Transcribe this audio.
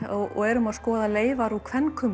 og erum að skoða leifar úr